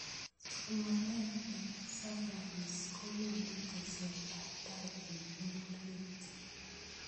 somanet ne bo siyanis kokonu teset ab tai eng pororiet